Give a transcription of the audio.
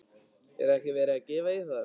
Er ekki verið að gefa í þar?